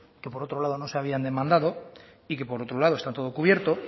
que por otro lado no se habían demandado y que por otro lado está todo cubierto